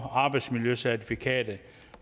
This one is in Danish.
og arbejdsmiljøcertifikatet